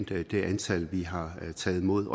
det antal vi har taget imod